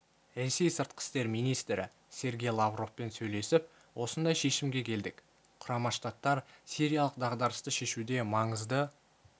ресей сыртқы істер министрі сергей лавровпен сөйлесіп осындай шешімге келдік құрама штаттар сириялық дағдарысты шешуде маңызды